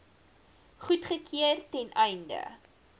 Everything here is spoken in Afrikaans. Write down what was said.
goedgekeur ten einde